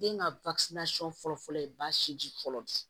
Den ka fɔlɔ fɔlɔ ye baasi fɔlɔ de ye